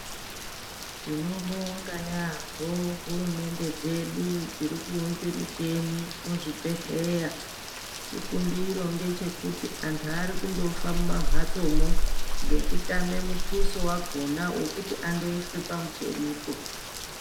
Tinobonga yaambo hurumende dzedu dzirikuunze michini muzvibhedhleya. Chikumbiro ngechekuti antu arikundofa mumamhatsomwo ngekutame mutuso wakona wokuti andoiswe pamuchinipo.